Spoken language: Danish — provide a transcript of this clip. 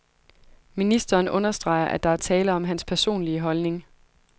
Ministeren understreger, at der er tale om hans personlige holdning.